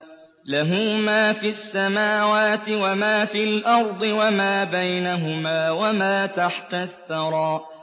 لَهُ مَا فِي السَّمَاوَاتِ وَمَا فِي الْأَرْضِ وَمَا بَيْنَهُمَا وَمَا تَحْتَ الثَّرَىٰ